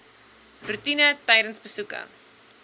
roetine tydens besoeke